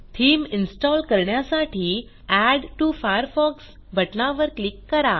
theme install करण्यासाठी add to Firefox बटनावर click करा